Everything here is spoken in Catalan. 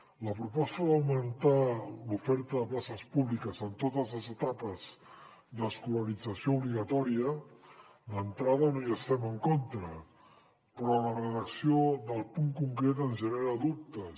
a la proposta d’augmentar l’oferta de places públiques en totes les etapes d’escolarització obligatòria d’entrada no hi estem en contra però la redacció del punt concret ens genera dubtes